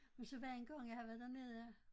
Men så var der en gang jeg havde været dernede